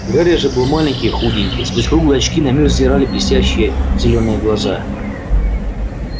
гарри же был маленький худенький сквозь круглые очки на мир взирали блестящие зелёные глаза